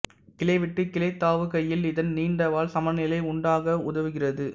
கிளைவிட்டு கிளைதாவுகையில் இதன் நீண்ட வால் சமநிலை உண்டாக்க உதவுகிறது